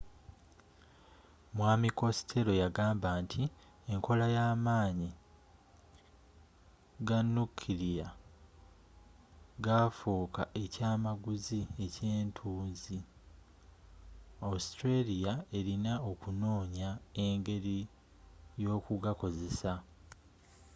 mwaami costello yagamba nti enkola y'amaanyi ganukilya gafuuka ekyamaguzi ekyetunzi australia elina okunoonya engeri yokugakozesa